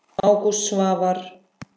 Ágúst Svavar.